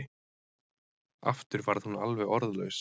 Aftur varð hún alveg orðlaus.